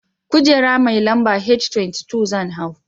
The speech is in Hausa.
Kujera mai lamba H23 zan hau.